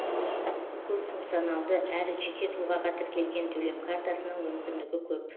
көпфункционалды әрі жеке тұлғаға тіркелген төлем картасының мүмкіндігі көп